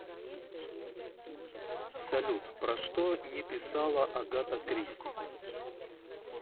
салют про что не писала агата кристи